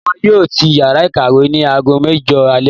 Wọn yóò tì yàrá ìkàwé ní aago mẹjọ alẹ́